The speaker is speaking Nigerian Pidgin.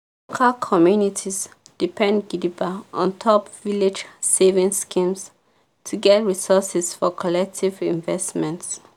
cal communities depend gidigba ontop village savings schemes to get resources for collective investments.